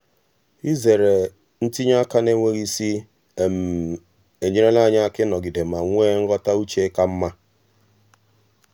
izere ntinye aka n'enweghị isi enyerela ya aka ịnọgide ma nwee nghọta uche ka mma.